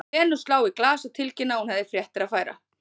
Lenu slá í glas og tilkynna að hún hefði fréttir að færa.